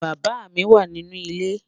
Bàbá mi wà nínú ilẹ̀.